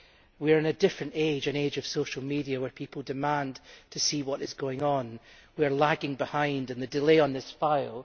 We are in a different age an age of social media where people demand to see what is going on. We are lagging behind with the delay on this file.